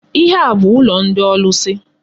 Ihe a bu ụlọ ndị ọlụsị.